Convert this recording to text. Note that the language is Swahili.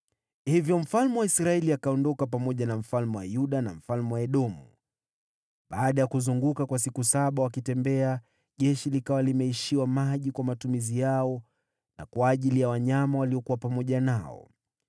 Hivyo mfalme wa Israeli akaondoka akiwa pamoja na mfalme wa Yuda na mfalme wa Edomu. Baada ya kuzunguka kwa siku saba, jeshi likawa limeishiwa maji kwa matumizi yao na kwa ajili ya wanyama waliokuwa nao.